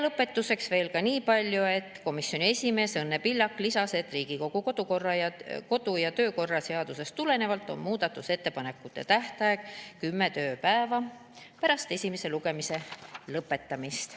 Lõpetuseks veel niipalju, et komisjoni esimees Õnne Pillak lisas, et Riigikogu kodu‑ ja töökorra seadusest tulenevalt on muudatusettepanekute tähtaeg kümme tööpäeva pärast esimese lugemise lõpetamist.